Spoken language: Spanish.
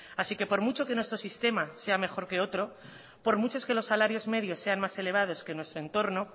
así que por mucho que nuestro sistema sea mejor que otro por mucho que los salarios medios sean más elevados que nuestro entorno